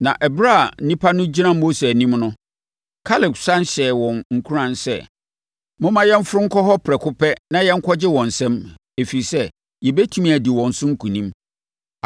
Na ɛberɛ a nnipa no gyina Mose anim no, Kaleb sane hyɛɛ wɔn nkuran sɛ, “Momma yɛmforo nkɔ hɔ prɛko pɛ na yɛnkɔgye wɔn nsam, ɛfiri sɛ, yɛbɛtumi adi wɔn so nkonim.”